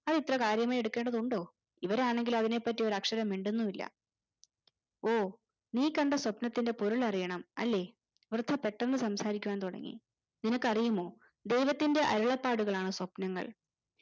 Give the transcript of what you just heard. അതിത്ര കാര്യമായി എടുക്കേണ്ടതുണ്ടോ ഇവരാണെങ്കിൽ അതിനെ പറ്റി ഒരക്ഷരം മിണ്ടുന്നുമില്ല ഓ നീ കണ്ട സ്വപ്നത്തിൻറെ പൊരുൾ അറിയണം അല്ലെ വൃദ്ധ പെട്ടന്ന് സംസാരിക്കുവാൻ തുടങ്ങി നിനക്കു അറിയുമോ ദൈവത്തിന്റെ അരുളപ്പാടുകൾ ആണ് സ്വപ്‌നങ്ങൾ